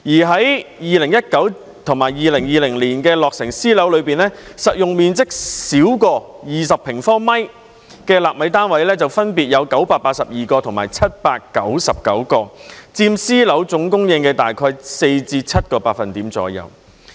在2019年和2020年落成的私樓中，實用面積小於20平方米的"納米單位"分別有982個和799個，佔私樓總供應約4至7個百分點。